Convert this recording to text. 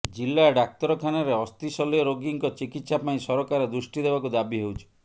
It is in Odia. ଜିଲା ଡାକ୍ତରଖାନାରେ ଅସ୍ଥିଶଲ୍ୟ ରୋଗୀଙ୍କ ଚିକିତ୍ସା ପାଇଁ ସରକାର ଦୃଷ୍ଟି ଦେବାକୁ ଦାବି ହେଉଛି